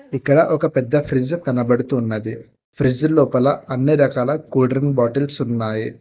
ఇక్కడ ఒక పెద్ద ఫ్రిడ్జ్ కనబడుతున్నది ఫ్రిడ్జ్ లోపల అన్ని రకాల కూల్డ్రింక్ బాటిల్స్ ఉన్నాయి.